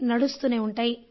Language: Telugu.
నడుస్తూనే ఉంటాయి